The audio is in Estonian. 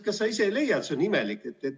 Kas sa ise ei leia, et see on imelik?